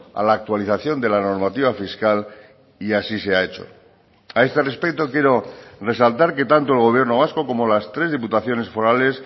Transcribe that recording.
a la actualización de la normativa fiscal y así se ha hecho a este respecto quiero resaltar que tanto el gobierno vasco como las tres diputaciones forales